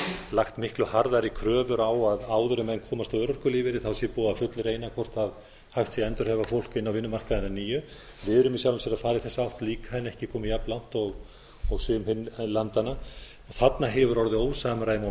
lagt miklu harðari kröfur á að áður en menn komast á örorkulífeyri sé búið að fullreyna hvort hægt sé að endurhæfa fólk inn á vinnumarkaðinn að nýju við erum í sjálfu sér að fara í feta átt líka en ekki komin jafn langt og sum hin landanna þarna hefur orðið ósamræmi